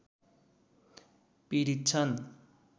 पीडित छन्